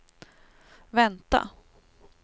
vänta